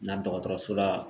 Na dɔgɔtɔrɔso la